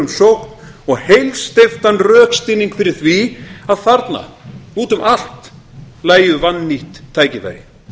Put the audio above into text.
um sókn og heilsteyptan rökstuðning fyrir því að þarna úti um allt lægju vannýtt tækifæri